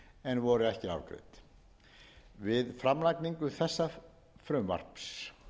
en voru ekki afgreidd við framlagningu þessa frumvarps